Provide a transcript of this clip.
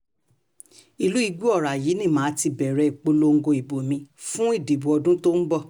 ìlú igbòóra yìí ni mà á ti bẹ̀rẹ̀ ìpolongo ìbò mi fún ìdìbò ọdún tó ń bọ̀